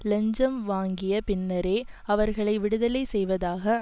இலஞ்சம் வாங்கிய பின்னரே அவர்களை விடுதலை செய்வதாக